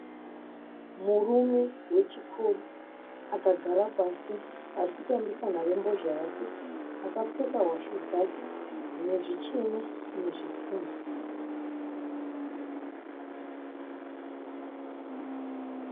Murume wechikuru akagara pasi arikutambisa nharembozha yake. Akapfeka hwashu dzake dzinezvichena nezvitema.